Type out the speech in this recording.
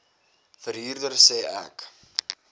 verhuurder sê ek